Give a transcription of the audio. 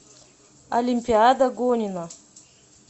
олимпиада гонина